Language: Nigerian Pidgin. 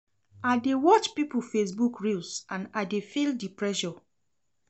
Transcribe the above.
I dey watch pipo Facebook reels and I dey feel di pressure.